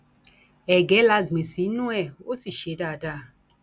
ẹgẹ la gbìn sínú ẹ ó sì ṣe dáadáa